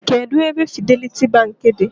Kedụ ebe Fidelity Bank dị?